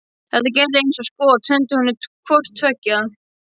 Þetta gerði ég eins og skot, sendi honum hvort tveggja.